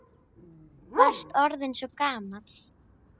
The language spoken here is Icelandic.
Varst orðinn svo gamall.